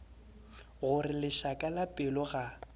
gore lešaka la pelo ga